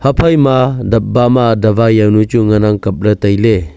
ipha ma dapba ma davai jawnu chu ngan ang kapley tailey.